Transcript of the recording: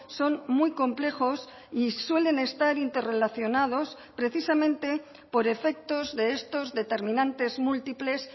son muy complejos y suelen estar interrelacionados precisamente por efectos de estos determinantes múltiples